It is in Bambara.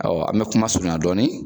Awɔ an bɛ kuma surunya dɔɔni.